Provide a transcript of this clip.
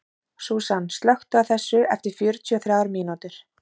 Súsan, slökktu á þessu eftir fjörutíu og þrjár mínútur.